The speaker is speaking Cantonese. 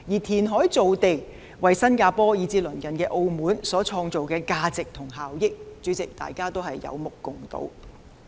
填海造地為新加坡以至鄰近的澳門所創造的價值及效益，是大家有目共睹的。